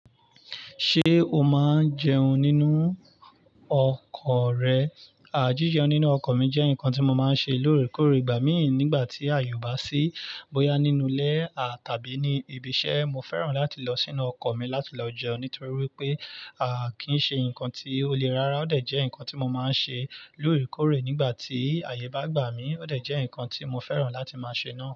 Ṣé o máa ń jẹun nínú ọkọ̀ rẹ? À, jíjẹ nínú ọkọ̀ mi jẹ́ nǹkan tí mo máa ń ṣe lóòrèkóòrè, igbà mí nígbà tí àyè o ba ṣi bóyá nínú ilé à tàbí ní ibi iṣẹ́. Mo fẹ́ràn láti lọ sínú ọkọ̀ mi láti lọ jẹun nítorí wípé à kí ń ṣe ǹkan tí ó lé rara. Ó dẹ̀ jẹ́ ǹkan tí mo máa ń ṣe lóòrèkóòrè nígbà tí àyè bá gbà mí, ó dẹ̀ jẹ́ ǹkan tí mo fẹ́ràn láti máa ṣe náà.